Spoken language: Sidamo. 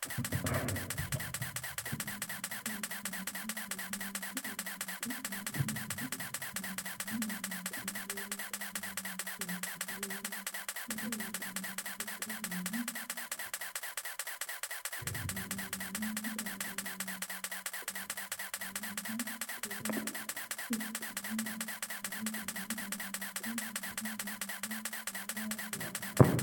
tini misile xawissannohu fayyimmate owaante uynanni base ikkitanna, tini owaanteno lowontanni manchi beetira lowo horo uytannota ikkasenni, mannu xissamiha ikkiha ikkiriro rahotenni owaantete mine mare layra hasiisanno.